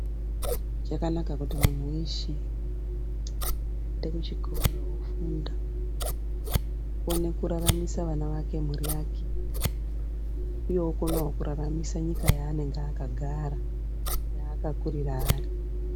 Zvakanaka kuti munhu weshe oende kuchikora, ofunda aone kuraramisa wana wake, mhuri yake iye okone kuraramise nyika yaanenge akagara, yaakakurira ari.